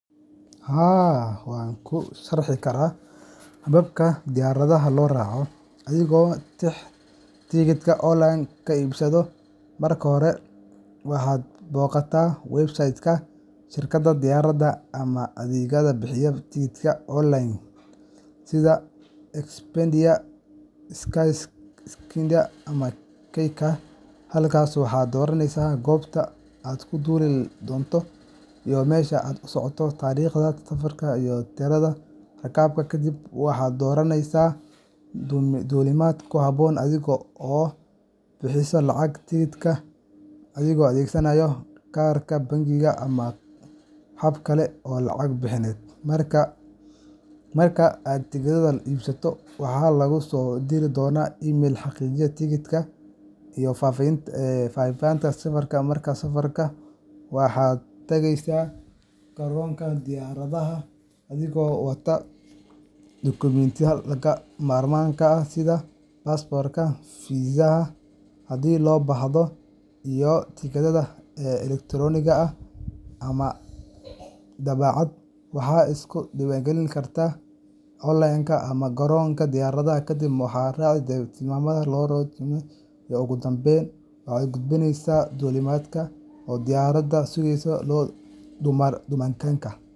Haa, waxaan ku sharxi karaa habka diyaaradaha loo raaco adigoo tigidhka online ka soo iibsaday. Marka hore, waxaad booqataa website-ka shirkadda diyaaradaha ama adeeg bixiyaha tigidhka online sida Expedia, Skyscanner, ama Kayaga. Halkaas waxaad dooraneysaa goobta aad ka duuli doonto iyo meesha aad u socoto, taariikhda safarka, iyo tirada rakaabka. Kadib, waxaad doorataa duulimaadka ku habboon adiga, oo aad bixisaa lacagta tigidhka adigoo adeegsanaya kaarka bangiga ama hab kale oo lacag bixineed. Marka aad tigidhka iibsato, waxaa laguu soo diri doonaa email xaqiijin tigidhka iyo faahfaahinta safarka. Maalinta safarka, waxaad tagaysaa garoonka diyaaradaha adigoo wata dukumentiyada lagama maarmaanka ah sida baasaboorka, fiisaha haddii loo baahdo, iyo tigidhkaaga elektaroonigga ah . Waxaad iska diiwaangelin kartaa onlineka ama garoonka diyaaradaha, kadibna waxaad raacdaa tilmaamaha loogu tala galay amniga iyo baadhista. Ugu dambayn, waxaad u gudubtaa albaabka duulimaadkaaga oo diyaaradda ku sugtaa ilaa la yeelo duulimaadka.